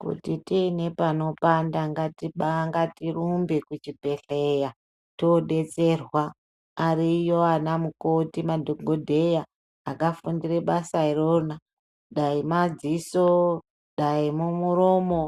Kuti tiine panopanda ngatirumbe kuchibhedhlera todetserwa. Ariyo anamukoti, madhogodheya, akafundire basa irona, dai madziso, dai mumuromo,